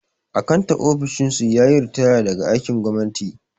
Akantan ofishin su yayi ritaya daga aikin gwamnati